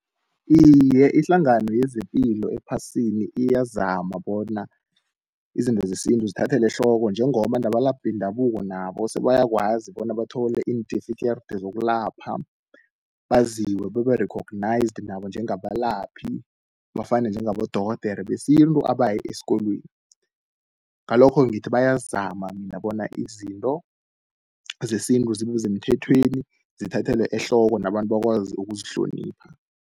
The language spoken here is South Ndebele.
Iye, ihlangano yezepilo ephasini iyazama bona izinto zesintu zithathele ehloko, njengoba nabalaphi bendabuko nabo sebayakwazi bona bathole intifikeride zokulapha, baziwe babe-recognised nabo njengabalaphi, bafane njengabodorhodere besintu abaye esikolweni. Ngalokho ngithi bayazama mina bona izinto zesintu zibe semthethweni zithathelwe ehloko nabantu bakwazi ukuzihlonipha.